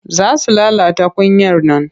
Za su lalata kunyar nan.